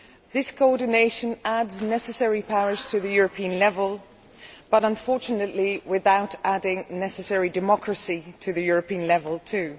This coordination adds necessary powers at the European level but, unfortunately, without adding necessary democracy at the European level too.